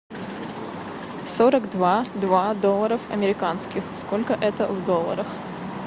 сорок два два долларов американских сколько это в долларах